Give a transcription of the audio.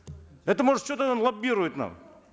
это может что то лоббирует нам